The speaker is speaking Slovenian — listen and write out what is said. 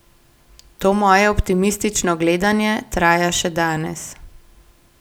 To moje optimistično gledanje traja še danes.